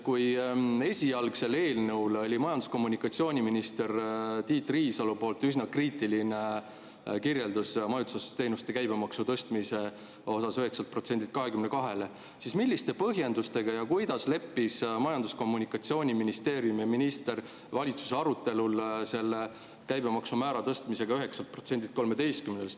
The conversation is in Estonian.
Kui esialgse eelnõu puhul oli majandus‑ ja minister Tiit Riisalol üsna kriitiline kirjeldus majutusteenuste käibemaksu 9%‑lt 22%‑le tõstmise kohta, siis milliste põhjendustega ja kuidas leppisid Majandus‑ ja Kommunikatsiooniministeerium ja minister valitsuse arutelul selle käibemaksumäära tõstmisega 9%‑lt 13%‑le?